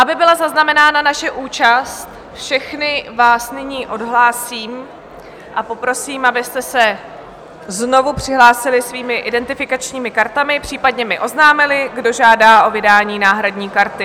Aby byla zaznamenána naše účast, všechny vás nyní odhlásím a poprosím, abyste se znovu přihlásili svými identifikačními kartami, případně mi oznámili, kdo žádá o vydání náhradní karty.